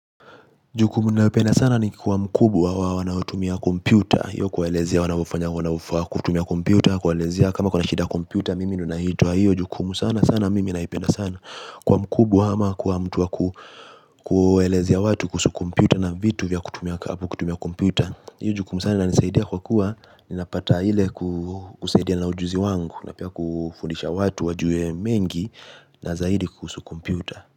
Jukumu naipenda sana ni kiwa mkubwa wa wanaotumia komputa. Iyo kuwaelezia wanavufanya wanavufaa kutumia komputa. Kwaelezia kama kwa nashida komputa mimi nunahitua hiyo. Jukumu sana sana mimi naipenda sana. Kwa mkubwa hma kwa mtu wa ku kuelezia watu kuhusu komputa na vitu vya kutumia komputa. Iyo jukumu sana nisaidia kwa kuwa ninapata hile kusaidia na ujuzi wangu. Napia kufundisha watu wajue mengi na zaidi kuhusu komputa.